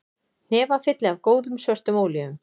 Hnefafylli af góðum, svörtum ólífum